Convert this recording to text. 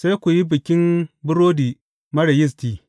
Sai ku yi Bikin Burodi Marar Yisti.